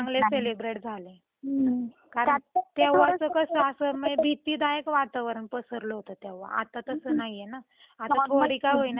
कारण त्यावेळी कस अस भीतीदायक वातावरण पसरल होत तेव्हा आता तस नाहीये ना आता थोडी काहोईना लोकांची काळजी मिटलीये